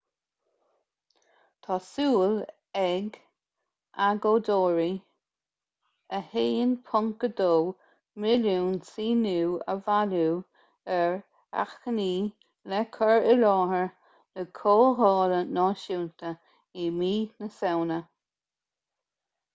tá súil ag agóideoirí 1.2 milliún síniú a bhailiú ar achainí le cur i láthair na comhdhála náisiúnta i mí na samhna